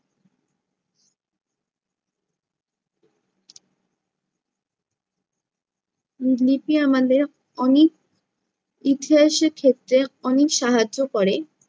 লিপি আমাদের অনেক ইতিহাসের ক্ষেত্রে অনেক সাহায্য করে।